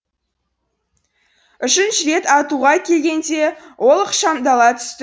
үшінші рет атуға келгенде ол ықшамдала түсті